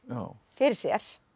fyrir sér